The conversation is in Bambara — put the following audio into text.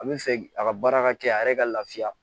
A bɛ fɛ a ka baara ka kɛ a yɛrɛ ka lafiya